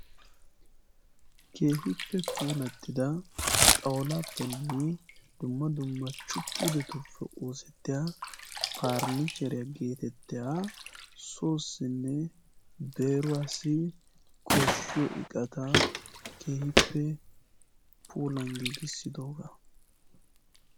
kehiippe pulattida xawulaappenne dumma dumma chupuudetuppe oosettiya parinicheeriyaa geetettaya soossinne beruwaasi koshshiyo iqata kehiippe pulan giigissidoogaa